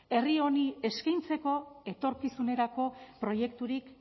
herri honi eskaintzeko etorkizunerako proiekturik